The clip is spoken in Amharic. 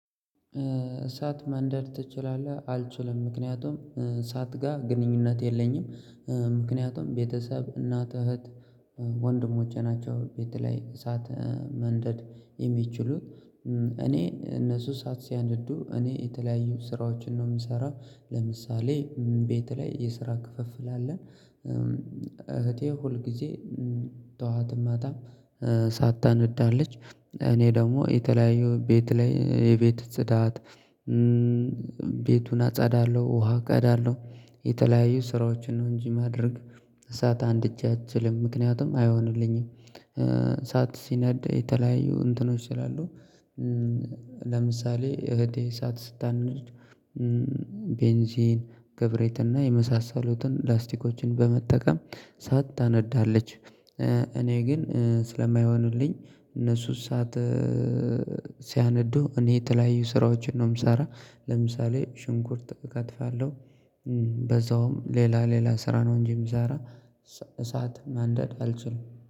እሳት ማንደር ትችላለህ አልችልም ምክንያቱም እሳት ጋር ግንኙነት የለኝም። ምክንያቱም ቤተሰብ እናት እህት ወንድሞቼ ናቸው ቤት ላይ እሳት ማንደድ የሚችሉት እኔ እነሱ ሰዓት ሲያነዱ እኔ የተለያዩ ስራዎችን ነው የምሰራው። ለምሳሌ ቤት ላይ የስራ ክፍፍል አለን። እህቴ ሁል ጊዜ ጠዋትም እሳት ታነዳለች እኔ ደግሞ የተለያየው ቤት ላይ የቤት ጽዳት። ቤቱን አጸዳለሁ ውሃ ቀዳለሁ። የተለያዩ ስራዎችን ነው እንጂ ማድረግ እሳት አንድጀ አልችልም ምክንያቱም አይሆንልኝም። እሳት ሲነድ የተለያዩ እንትኖች ስላሉ ይላሉ። ለምሳሌ እህቴ ሰዓት ስታነድ ቤንዚን ክብሪትና የመሳሰሉትን ላስቲኮችን በመጠቀም እሳት ታነዳለች። እኔ ግን ስለማይሆንልኝ እነሱ እሳት ሲያነዱ እኔ የተለያዩ ስራዎችን ነው የምሰራ። ለምሳሌ ሽንኩርት እከትፋለሁ በዛውም ሌላ ሌላ ስራ ነው እንጂ የምሰራ። እሳት ማንደድ አልችልም